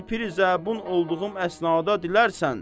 Bir piri zabun olduğum əsnada dilərsən.